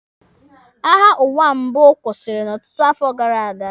Agha ụwa mbụ kwụsịrị n'ọtụtụ afọ gara aga.